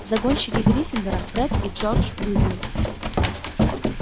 загонщики гриффиндора фред и джордж уизли